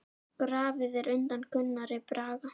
Grafið er undan Gunnari Braga.